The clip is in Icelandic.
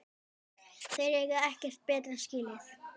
Þeir eiga ekkert betra skilið